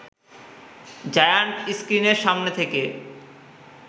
giant স্ক্রিনের সামনে থেকে